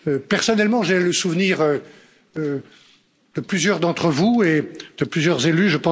Personnellement, j'ai le souvenir de plusieurs d'entre vous et de plusieurs élus.